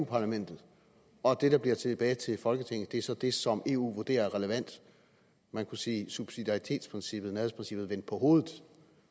parlamentet og at det der bliver tilbage til folketinget så er det som eu vurderer er relevant man kunne sige subsidiaritetsprincippet nærhedsprincippet vendt på hovedet